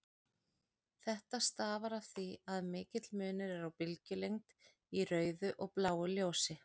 Þetta stafar af því að mikill munur er á bylgjulengd í rauðu og bláu ljósi.